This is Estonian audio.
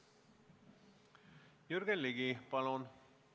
Jürgen Ligi, palun!